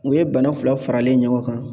U ye bana fila faralen ɲɔgɔn kan